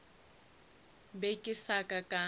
be ke sa ka ka